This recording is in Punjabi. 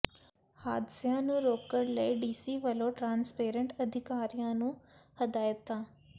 ਹਾਦਸਿਆਂ ਨੂੰ ਰੋਕਣ ਲਈ ਡੀਸੀ ਵੱਲੋਂ ਟਰਾਂਸਪਰੋਟ ਅਧਿਕਾਰੀਆਂ ਨੂੰ ਹਦਾਇਤਾਂ